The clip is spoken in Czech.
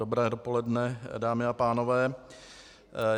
Dobré dopoledne, dámy a pánové.